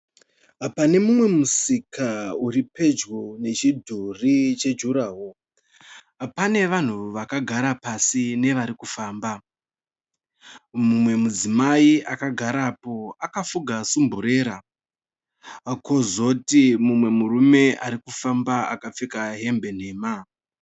Pane mumwe musika uripedyo nechidhuri chejurahoro. Pane vanhu vakagara pasi nevarikufamba. Mumwe udzimai akagarapo akafuga sumburera. Kozoti mumwe murume arikufamba akapfeka hembe nhema.